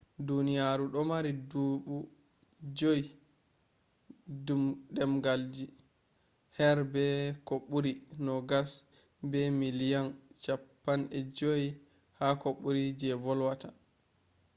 duniyaru do mari do dubu juy demgalji har be ko buri nogas be miliyan chappai joy ko buri je volwata